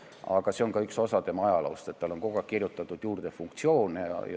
Aga see on ka üks osa tema ajaloost, et talle on kogu aeg funktsioone juurde kirjutatud.